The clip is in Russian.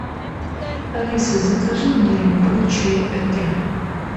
алиса закажи мне любой чай этре